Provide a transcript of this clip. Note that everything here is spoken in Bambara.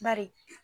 Bari